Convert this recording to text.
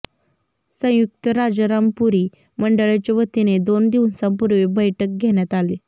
संयुक्त राजारामपुरी मंडळाच्या वतीने दोन दिवसांपूर्वी बैठक घेण्यात आली